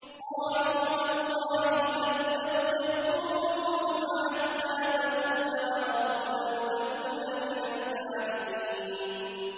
قَالُوا تَاللَّهِ تَفْتَأُ تَذْكُرُ يُوسُفَ حَتَّىٰ تَكُونَ حَرَضًا أَوْ تَكُونَ مِنَ الْهَالِكِينَ